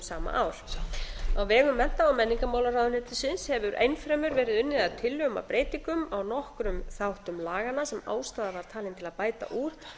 sama ár á vegum mennta og menningarmálaráðuneytisins hefur enn fremur verið unnið að tillögum að breytingum á nokkrum þáttum laganna sem ástæða var talin til að bæta úr